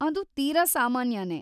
ಅದು ತೀರಾ ಸಾಮಾನ್ಯನೇ.